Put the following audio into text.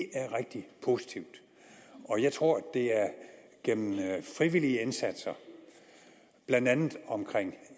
er rigtig positivt og jeg tror at det er gennem frivillige indsatser blandt andet omkring